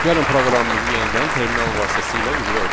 Gəlin proqramımızı yenidən terminal vasitəsilə icra edək.